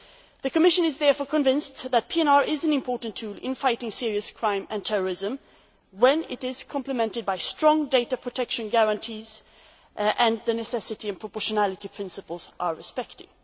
The Commission is therefore convinced that PNR is an important tool in fighting serious crime and terrorism, when it is complemented by strong data protection guarantees and when the necessity and proportionality principles are respected.